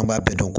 An b'a bɛɛ dɔn